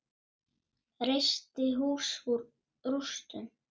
Reisti hús úr rústum.